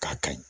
K'a kayi